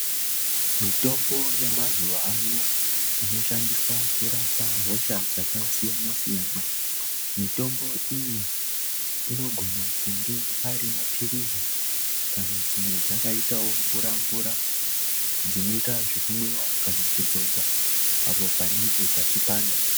Mitombo yemazuwa ano inoshandiswa kurapa hosha dzakasiyana siyana mitombo iyi inogona kunge ari mapirizi kana dzimwe dzakaitawo mvura mvura dzinoita zvekumwiwa kana kudzodzaapo panenge pachipanda.